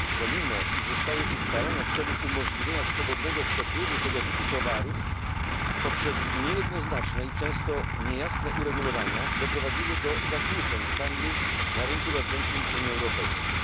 Pomimo, że zostały uchwalone w celu umożliwienia swobodnego przepływu tego typu towarów, poprzez niejednoznaczne i często niejasne uregulowania doprowadziły do zakłóceń w handlu na rynku wewnętrznym Unii Europejskiej.